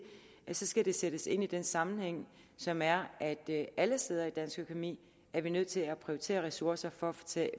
så skal det sættes ind i den sammenhæng som er at vi alle steder i dansk økonomi er nødt til at prioritere ressourcerne for